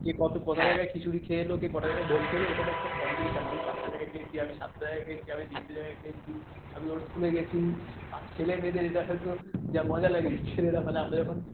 কে কত কটা জায়গা খিচুড়ি খেলো কে কটা জায়গায় ভোগ খেলো এটা নিয়ে একটা competition আমি পাঁচটা জায়গায় খেয়েছি আমি সাতটা জায়গায় খেয়েছি আমি তিনটে জায়গায় খেয়েছি আমি ওর স্কুল এ গেছি আর ছেলে মেয়েদের এটা আসলে তো যা মজা লাগে ছেলেরা আমরা যখন,